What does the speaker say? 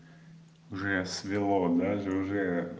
сверло даже уже